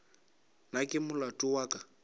na ke molato wa ka